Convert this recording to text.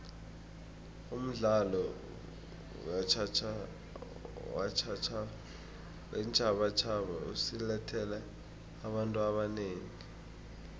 umdlalo weentjhabatjhaba usilethele abantu abanengi